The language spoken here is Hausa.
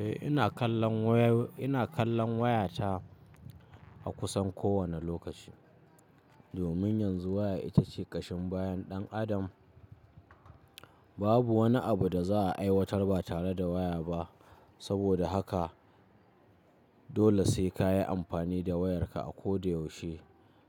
Eh ina kallon wayo, ina kallon wayata a kusan kowane lokaci. Domin yanzu waya ita ce ƙashin bayan ɗan adam. Babu wani abu da za a aiwatar ba tare da waya ba. Saboda haka dole sai ka yi amfani da wayarka a koda yaushe